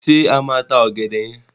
Ṣé a máa ta ọ̀gẹ̀dẹ̀ yẹn?